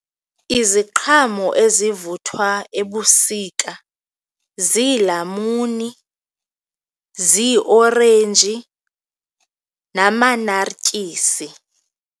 Iziqhamo ezivuthwa ebusika ziilamuni, ziiorenji namanartyisi.